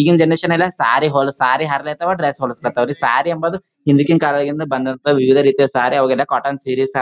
ಈಗಿನ್ ಜನರೇಶನ್ ಎಲ್ಲ ಸಾರಿ ಹೊಲ ಸಾರಿ ಹರಲ್ಯತವ್ ಡ್ರೆಸ್ ಹೋಲಸ್ಲತವ್ರಿ ಸಾರಿ ಅಂಬದು ಹಿಂದಕಿನ ಕಾಲದಾಗಿಂದ ಬಂದತಃ ವಿವಿದ ರೀತಿಯ ಸಾರೀ ಅವಗೆಲ್ಲ ಕಾಟನ್ ಸಿರೀಸ್